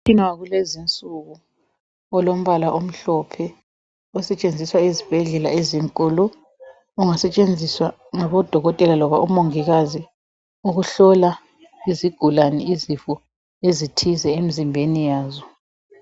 Umtshina walezinsuku, olombala omhlophe, osetshenziswa ezibhedlela ezinkulu. Ungasetshenziswa ngabodokotela labomongikazi ukuhlola izigulane izifo ezithize emizimbeni yazo.